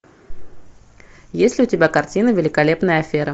есть ли у тебя картина великолепная афера